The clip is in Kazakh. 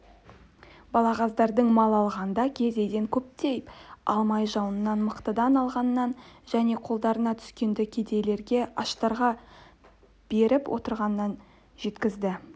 балағаздардың мал алғанда кедейден көптен алмай жуаннан мықтыдан алғанын және қолдарына түскенді кедейлерге аштарға беріп отырғанын жеткізді